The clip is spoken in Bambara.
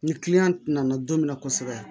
Ni nana don min na kosɛbɛ